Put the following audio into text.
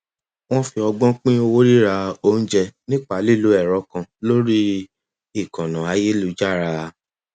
wọn fi ọgbọn pín owó rírà oúnjẹ nípa lílo ẹrọ kan lórí ìkànnà ayélujára